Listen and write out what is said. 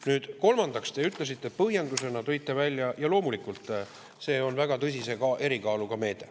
Nüüd, kolmandaks te tõite põhjendusena välja ja loomulikult see ongi väga tõsise erikaaluga meede.